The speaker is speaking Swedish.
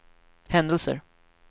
händelser